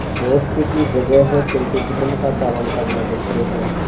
दोस्ती की जगह है किंतु धर्म का पालन करना मुख्य है